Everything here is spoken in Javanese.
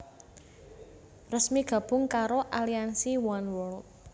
resmi gabung karo aliansi Oneworld